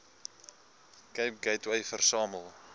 cape gateway versamel